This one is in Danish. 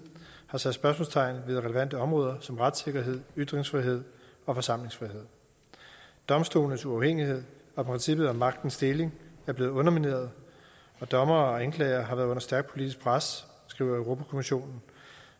har sat spørgsmålstegn ved relevante områder som retssikkerhed ytringsfrihed og forsamlingsfrihed domstolenes uafhængighed og princippet om magtens deling er blevet undermineret og dommere og anklagere har været under stærkt politisk pres skriver europa kommissionen